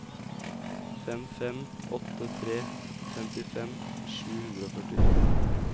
fem fem åtte tre femtifem sju hundre og førtito